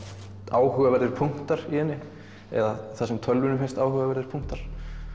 áhugaverðir punktar í henni eða það sem tölvunni finnst áhugaverðir punktar